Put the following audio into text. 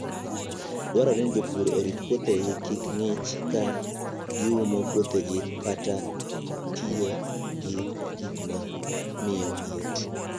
Dwarore ni jopur orit puothegi kik ng'ich, ka giumo puothegi kata tiyo gi gik ma miyo liet.